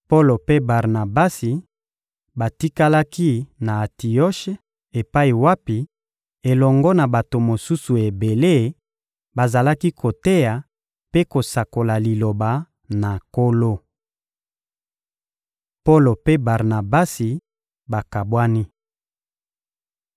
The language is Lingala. Polo mpe Barnabasi batikalaki na Antioshe epai wapi, elongo na bato mosusu ebele, bazalaki koteya mpe kosakola Liloba na Nkolo. Polo mpe Barnabasi bakabwani